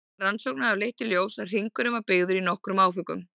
Rannsóknir hafa leitt í ljós að hringurinn var byggður í nokkrum áföngum.